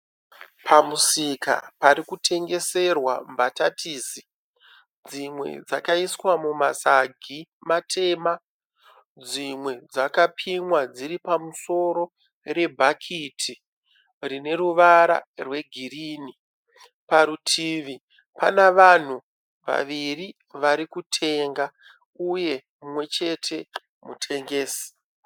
Pamusika parikutengeserwa mbatatisi. Dzimwe dzakaiswa mumasagi matema. Dzimwe dzakapimwa dziri pamusoro rebhakiti rine ruvara rwegirinhi. Parutivi pane vanhu vaviri varikutenga uye mumwechete mutengesi.